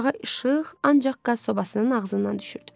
Otağa işıq ancaq qaz sobasının ağzından düşürdü.